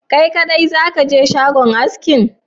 Kai kaɗai zakaje shagon askin?